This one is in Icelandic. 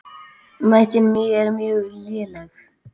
Mæting mín er mjög léleg.